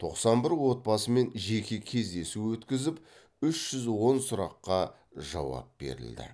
тоқсан бір отбасымен жеке кездесу өтіп үш жүз он сұраққа жауап берілді